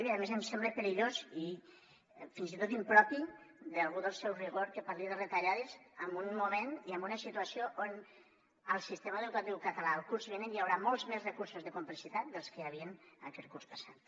i a més em sembla perillós i fins i tot impropi d’algú del seu rigor que parli de retallades en un moment i en una situació on al sistema educatiu català el curs vinent hi haurà molts més recursos de complexitat que els que hi havien aquest curs passat